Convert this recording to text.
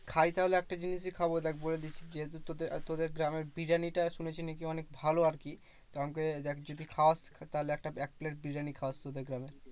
খাই তাহলে একটা জিনিসই খাবো দেখ বলে দিচ্ছি, যেহেতু তোদের গ্রামের বিরিয়ানিটা শুনেছি নাকি অনেক ভালো আরকি। তো আমাকে দেখ যদি খাওয়াস তাহলে একটা এক plate বিরিয়ানি খাওয়াস তোদের গ্রামের।